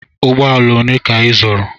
Ụgbọala ole ka ị zụrụ?